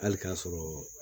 Hali k'a sɔrɔ